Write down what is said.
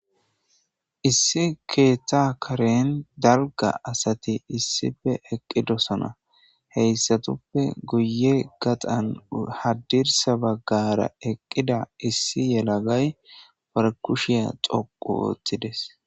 Issi keeta karen dalga asati issife eqqidosona heyssatuppe guye gaxan haddirsa baggara eqqida issi yelagay barkushiya xoqu woottides